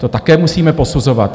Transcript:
To také musíme posuzovat.